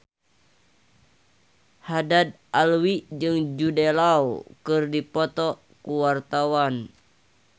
Haddad Alwi jeung Jude Law keur dipoto ku wartawan